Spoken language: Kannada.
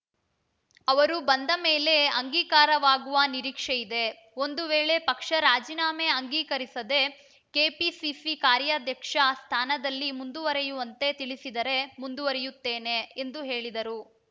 ಅವರು ಬಂದ ಮೇಲೆ ಅಂಗೀಕಾರವಾಗುವ ನಿರೀಕ್ಷೆಯಿದೆ ಒಂದು ವೇಳೆ ಪಕ್ಷ ರಾಜೀನಾಮೆ ಅಂಗೀಕರಿಸದೆ ಕೆಪಿಸಿಸಿ ಕಾರ್ಯಾಧ್ಯಕ್ಷ ಸ್ಥಾನದಲ್ಲಿ ಮುಂದುವರೆಯುವಂತೆ ತಿಳಿಸಿದರೆ ಮುಂದುವರೆಯುತ್ತೇನೆ ಎಂದು ಹೇಳಿದರು